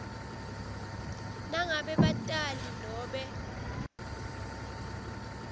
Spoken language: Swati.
nangabe batali nobe